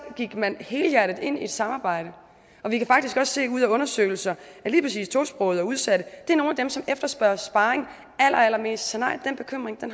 gik man helhjertet ind i et samarbejde og vi kan faktisk også se ud af undersøgelser at lige præcis tosprogede og udsatte er nogle af dem som efterspørger sparring allerallermest så nej den bekymring